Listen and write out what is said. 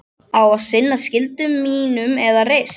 Á að sinna skyldu mínum með reisn.